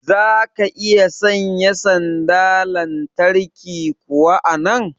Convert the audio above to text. zaka iya sanya sanda lantarki kuwa a nan?